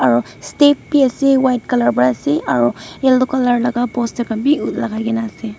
aro step bi ase white colour pra ase aro yellow colour laka poster khan bi lakaikaena ase.